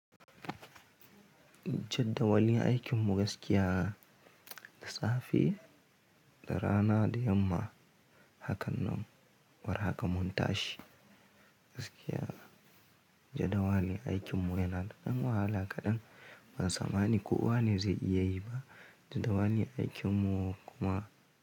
Jaddawalin aikin mu gaskiya da safe, da rana da yamma, hakan nan, war haka mun tashi gaskiya. Jaddawali aikin mu yana da dan wahala kaɗan, ban tsammani ko wane zai iya yi ba. Jaddawali aikin mu kuma.